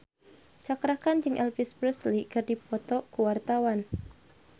Cakra Khan jeung Elvis Presley keur dipoto ku wartawan